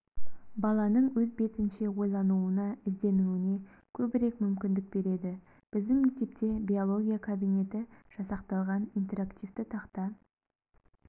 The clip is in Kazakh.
баланың өз бетінше ойлануына ізденуіне көбірек мүмкіндік береді біздің мектепте биология кабинеті жасақталған интерактивті тақта